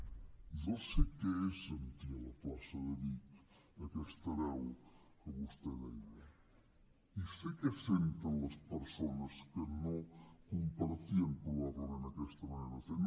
jo sé què és sentir a la plaça de vic aquesta veu que vostè deia i sé què senten les persones que no compartien probablement aquesta manera de fer